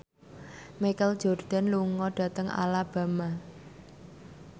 Michael Jordan lunga dhateng Alabama